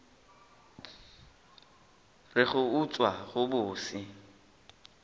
re go utswa go bose